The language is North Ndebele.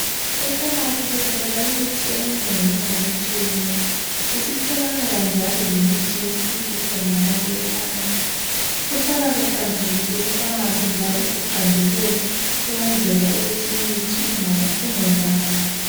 e Phamarcy sithola imithi eminenginengi etshiyeneyo isitholakala njalo lemithi yesintu khonangale e phamarcy kuhlala kuhlanzekile e phamarcy njalo kuqandelela ukwenzela ukuthi imithi ingonakali